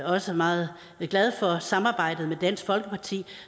også meget glad for samarbejdet med dansk folkeparti